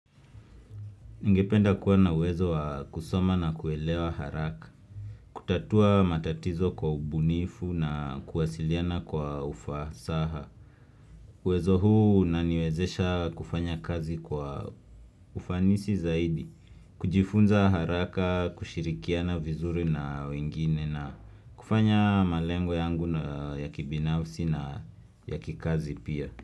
Ningependa kuwa na uwezo wa kusoma na kuelewa haraka, kutatua matatizo kwa ubunifu na kuwasiliana kwa ufasaha. Uwezo huu unaniwezesha kufanya kazi kwa ufanisi zaidi, kujifunza haraka, kushirikiana vizuri na wengine na kufanya malengo yangu na ya kibinafsi na ya kikazi pia.